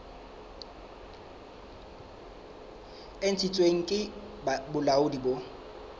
e ntshitsweng ke bolaodi bo